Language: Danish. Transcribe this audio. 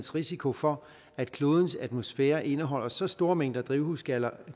risiko for at klodens atmosfære indeholder så store mængder drivhusgasser